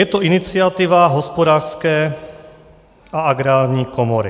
Je to iniciativa Hospodářské a Agrární komory.